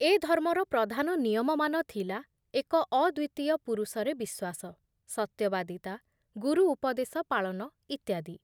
ଏ ଧର୍ମର ପ୍ରଧାନ ନିୟମମାନ ଥିଲା ଏକ ଅଦ୍ବିତୀୟ ପୁରୁଷରେ ବିଶ୍ଵାସ, ସତ୍ୟବାଦିତା, ଗୁରୁ ଉପଦେଶ ପାଳନ ଇତ୍ୟାଦି ।